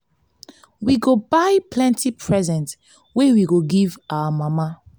we go buy plenty present wey we go give our mama.